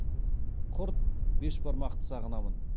құрт бешбармақты сағынамын